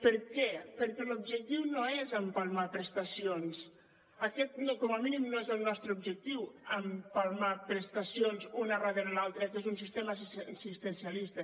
per què perquè l’objectiu no és empalmar prestacions aquest com a mínim no és el nostre objectiu empalmar prestacions una darrere l’altra que és un sistema assistencialista